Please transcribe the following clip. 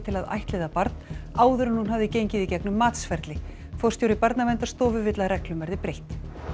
að ættleiða barn áður en hún hafði gengið í gegnum matsferli forstjóri Barnaverndarstofu vill að reglum verði breytt